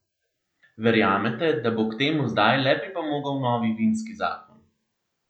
Verjamete, da bo k temu zdaj le pripomogel novi vinski zakon?